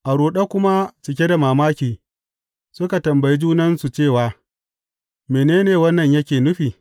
A ruɗe kuma cike da mamaki, suka tambayi junansu cewa, Mene ne wannan yake nufi?